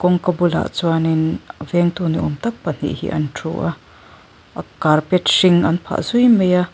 kawngka bulah chuanin a vengtu niawm tak pahnih hi an thu a carpet hring an phah zui mai a.